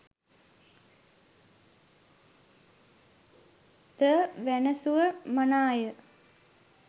ද වැනැසුව මනාය.